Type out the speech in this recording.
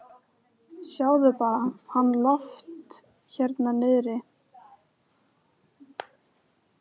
Hér eiga hlut að máli ítalskir siðameistarar og forsetaritari.